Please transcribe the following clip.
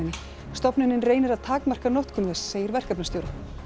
stofnunin reynir að takmarka notkun þess segir verkefnastjóri